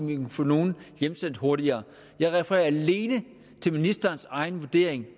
vi vil få nogle hjemsendt hurtigere jeg refererer alene til ministerens egen vurdering